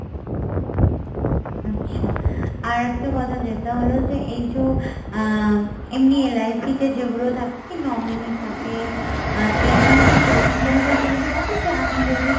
আচ্ছা, আর একটা কথা যেটা হলো যে এই যো আহ এমনি LIC তে যেগুলো থাকে কি nominee থাকে এখানে কি সেরকম কোনো facility আছে যে আমি যদি